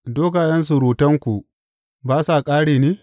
Dogayen surutanku ba sa ƙare ne?